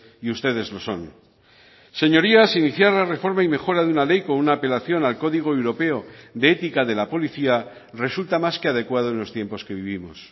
y ustedes lo son señorías iniciar la reforma y mejora de una ley con una apelación al código europeo de ética de la policía resulta más que adecuado en los tiempos que vivimos